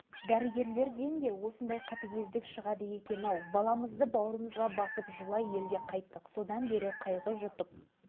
бұл сөзді естігенде жолдасым екеуміз төбемізден жай түскендей болдық тірі күйімізде керексіз зат қалпына түскенімізді сезініп